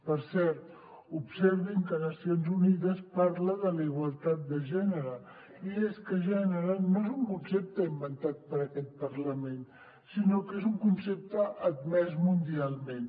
per cert observin que nacions unides parla de la igualtat de gènere i és que gènere no és un concepte inventat per aquest parlament sinó que és un concepte admès mundialment